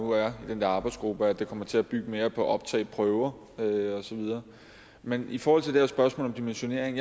nu er i den der arbejdsgruppe er at det kommer til at bygge mere på optagelsesprøver og så videre men i forhold til det her spørgsmål om dimensionering